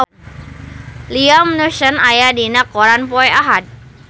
Liam Neeson aya dina koran poe Ahad